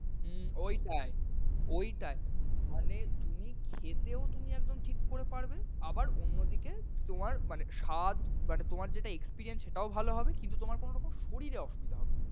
হম ওইটাই, ওইটাই মানে তুমি খেতেও তুমি একদম ঠিক করে পারবে। আবার অন্যদিকে তোমার মানে স্বাদ মানে তোমার যে experience সেটাও ভালো হবে, কিন্তু তোমার কোন শরীরে অসুবিধা হবে না।